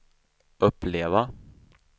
uppleva